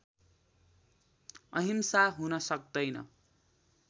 अहिंसा हुन सक्दैन